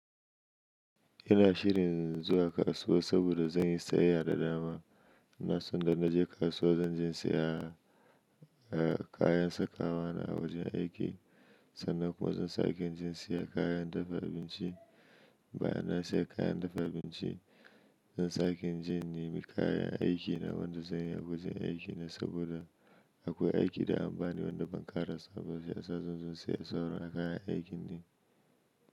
Ina shirin zuwa kasuwa saboda zan yi sayayya da dama. Na sanda na je kasuwa zan je siya kayan sakawa na wajen aiki sannan kuma zan sake je siyan kayan dafa abinci. Bayan nan sai kayan dafa abinci zan sake in je in nemi kayan aiki na wanda zan yi a wajen aiki saboda akwai aiki da an bani wanda ban ƙarasa shi yasa zan zo siyar sauro a kayan aikindi.